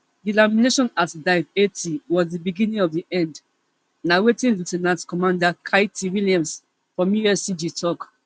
delamination at dive eighty was di beginning of di end na wetin lieu ten ant commander katie williams from uscg tok